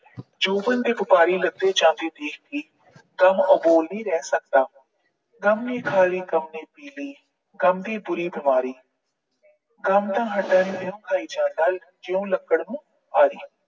ਜੋਬਨ ਦੇ ਦੇਖਕੇ ਗਮ ਅਬੋਲ ਨਹੀਂ ਰਹਿ ਸਕਦਾ। ਗਮ ਨੇ ਖਾ ਲੀ, ਗਮ ਨੇ ਪੀ ਲੀ, ਗਮ ਦੀ ਪੂਰੀ ਗਮ ਹੱਡਾਂ ਨੂੰ ਇਉਂ ਜਾਈ ਜਾਂਦਾ ਐ ਜਿਉਂ ਲੱਕੜ ਨੂੰ ਆਰੀ।